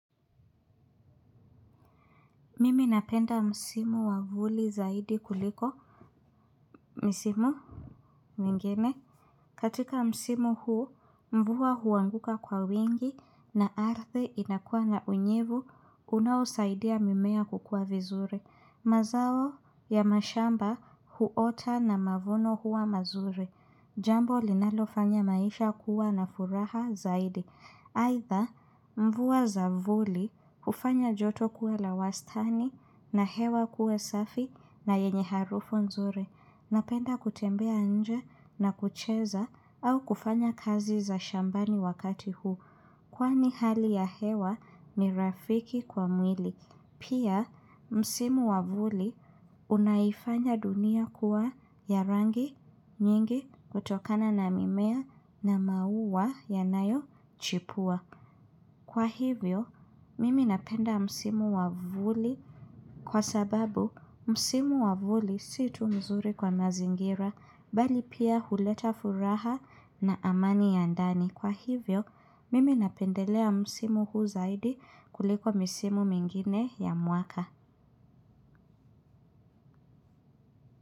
Mimi napenda msimu wa vuli zaidi kuliko. Misimu? Mingine. Katika msimu huu mvua huanguka kwa wingi na ardhi inakuwa na unyevu unaosaidia mimea kukua vizuri. Mazao ya mashamba huota na mavuno huwa mazuri. Jambo linalofanya maisha kuwa na furaha zaidi. Aidha mvua za vuli hufanya joto kuwa la wastani na hewa kuwa safi na yenye harufu nzuri. Napenda kutembea nje na kucheza au kufanya kazi za shambani wakati huu. Kwani hali ya hewa ni rafiki kwa mwili. Pia msimu wa vuli unaifanya dunia kuwa ya rangi nyingi kutokana na mimea na maua yanayochipua kwa hivyo mimi napenda msimu wa vuli kwa sababu msimu wa vuli si tu nzuri kwa mazingira bali pia huleta furaha na amani ya ndani. Kwa hivyo, mimi napendelea msimu huu zaidi kuliko misimu mingine ya mwaka.